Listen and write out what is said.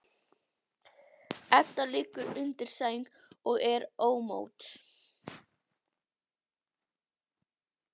Edda liggur undir sæng og er ómótt.